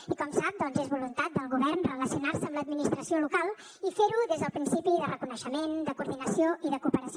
i com sap doncs és voluntat del govern relacionar se amb l’administració local i fer ho des del principi de reconeixement de coordinació i de cooperació